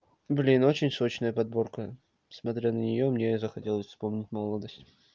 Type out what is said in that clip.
блин очень сочная подборка смотря на неё мне захотелось вспомнить молодость